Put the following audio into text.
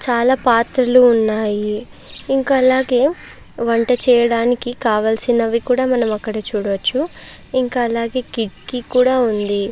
చాలా పాత్రలు ఉన్నాయి ఇంకా అలాగే వంట చేయడానికి కావలసినవి కూడా మనం అక్కడ చూడవచ్చు ఇంకా అలాగే కిటికీ కూడా ఉంది.